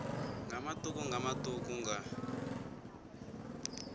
nga matuku nga matuku nga